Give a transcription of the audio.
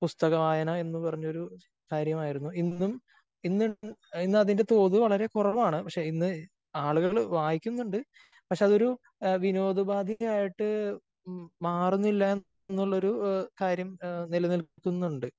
പുസ്തക വായന എന്ന് പറഞ്ഞൊരു കാര്യമായിരുന്നു. ഇന്നും ഇന്ന് ഇന്ന് അതിന്റെ തോത് വളരെ കുറവാണ്. പക്ഷേ ഇന്ന് ആളുകള് വായിക്കുന്നുണ്ട്. പക്ഷേ അത് ഒരു വിനോദ ഉപാധിയായിട്ട് മാറുന്നില്ല എന്നുള്ള ഒരു ഇത് കാര്യം നിലനില്ക്കുന്നുണ്ട്.